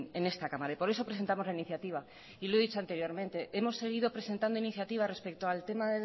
en esta cámara y por eso presentamos la iniciativa y lo ha dicho anteriormente hemos seguido presentado iniciativas respecto al tema